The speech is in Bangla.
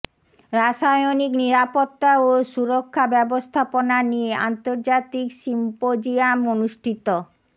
রাসায়নিক নিরাপত্তা ও সুরক্ষা ব্যবস্থাপনা নিয়ে আন্তর্জাতিক সিম্পোজিয়াম অনুষ্ঠিত